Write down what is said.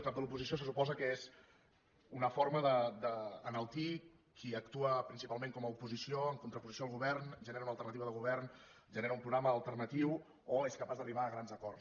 cap de l’oposició se suposa que és una forma d’enaltir qui actua principalment com a oposició en contraposició al govern genera una alternativa de govern genera un programa alternatiu o és capaç d’arribar a grans acords